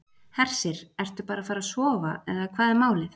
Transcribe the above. Hersir: Ertu bara að fara að sofa eða hvað er málið?